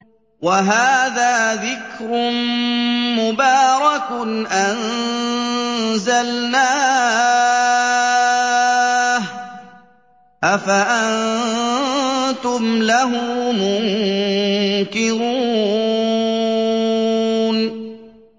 وَهَٰذَا ذِكْرٌ مُّبَارَكٌ أَنزَلْنَاهُ ۚ أَفَأَنتُمْ لَهُ مُنكِرُونَ